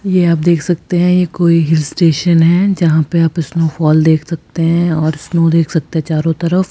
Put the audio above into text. ये आप देख सकते हैं ये कोई हिल स्टेशन है जहां पे आप स्नोफॉल देख सकते है और स्नो देख सकते है चारों तरफ --